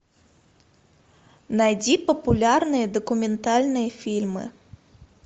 найди популярные документальные фильмы